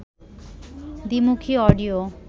দ্বিমুখী অডিও